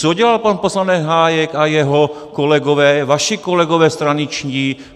Co dělal pan poslanec Hájek a jeho kolegové, vaši kolegové straničtí?